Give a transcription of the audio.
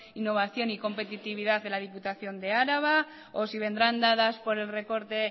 innovación y competitividad de la diputación de álava o si vendrán dadas por el recorte